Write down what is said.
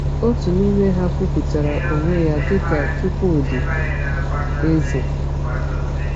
Otu n’ime ha kwupụtara onwe ya dị ka Chukwudi Eze.